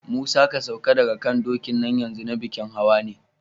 Musa, ka sauka daga kan dokin nan yanzu, na bikin hawa ne!